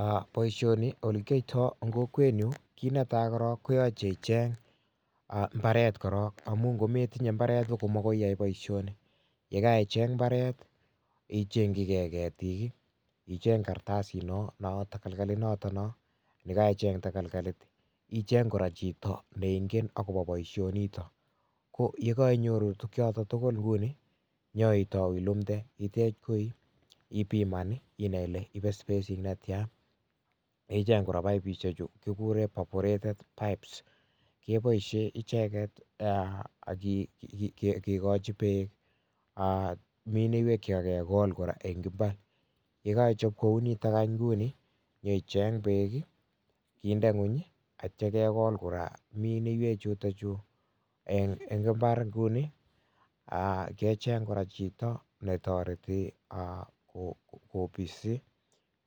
Aah boisioni olekioto en kokwenyun kit netai korong koyoche icheng mbaret korong amun ngo metinye mbaret kokomokiyai boisioni, yekaicheng mbaret ichengyike ketik, icheng kartasino noo takalkalit yekaicheng takalkalit icheng kora chito neingen akopo boisionito koyekainyoru tukchoto tugul kuni inyoitou ilumde itech koi ipiman inai ile ipe space netia akicheng kora poipusichu kikuren 'vaporated pipes' kiboisien icheket eeh kikochi beek mineiwek chekakikol eng mbar yekoichop kounitok nguni inyoicheng beek kinde ngweny akitia kekol kora mineiwek chutochu en mbar kuni kecheng kora chito netoreti kobis,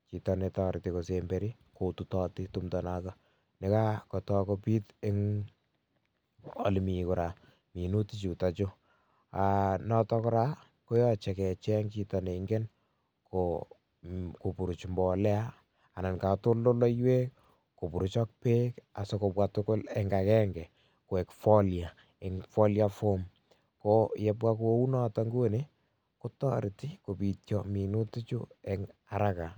chito netoreti kosemberi kotutoti timto nekakoto kobit en olemi minutichu aah noto kora koyoche kecheng chito neingen koburuch mbolea ana katoltoleiwek koburuch ak beek asikobwa tugul eng akenge koi folia en folia form ko yebwa kou noto nguni kotoreti kopitio minutichu eng 'haraka'.